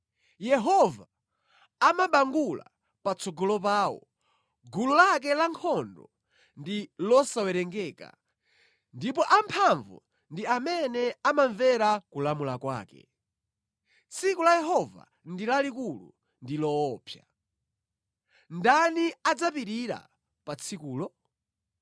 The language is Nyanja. Yehova amabangula patsogolo pawo, gulu lake lankhondo ndi losawerengeka, ndipo amphamvu ndi amene amamvera kulamula kwake. Tsiku la Yehova ndi lalikulu; ndi loopsa. Ndani adzapirira pa tsikulo?